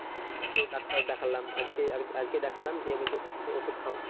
তো ডাক্তার দেখলাম আজকে আরকি আজকে দেখলাম দিয়ে বলছে ওষুধ খাও।